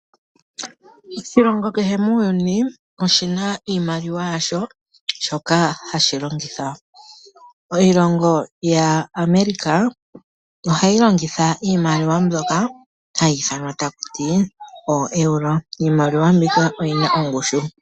Oshilongo kehe muuyuni oshina iimaliwa yasho shoka hashi longitha. Oilongo yaAmerica ohayi longitha iimaliwa mbyoka hayi ithanwa oEuro iimaliwa mbika oyina ongushu.